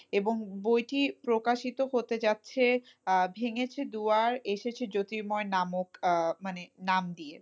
এবং বইটি প্রকাশিত হতে যাচ্ছে আহ ভেঙেছে দুয়ার এসেছে জ্যোতির্ময় নামক আহ মানে নাম দিয়ে,